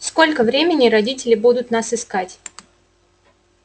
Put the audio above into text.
сколько времени родители будут нас искать